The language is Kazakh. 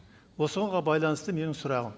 осыған байланысты менің сұрағым